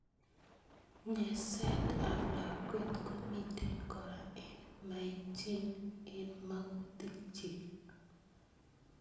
Nyerset ab lakwet komitei kora eng maichin eng makutik chik.